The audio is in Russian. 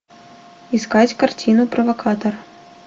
искать картину провокатор